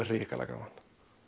hrikalega gaman